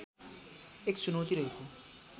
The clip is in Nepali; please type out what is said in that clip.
एक चुनौती रहेको